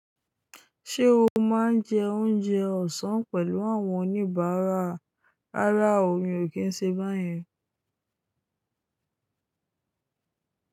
Ṣé o máa ń jẹ oúnjẹ ọ̀sán pẹ̀lú àwọn oníbàárà? Rárá o, mi ò kí ń ṣe báyẹn.